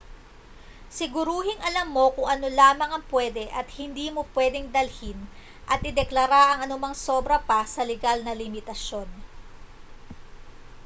siguruhing alam mo kung ano lamang ang pwede at hindi mo pwedeng dalhin at ideklara ang anumang sobra pa sa legal na limitasiyon